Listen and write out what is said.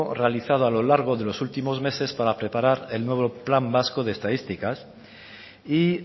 realizado a lo largo de los últimos meses para preparar el nuevo plan vasco de estadísticas y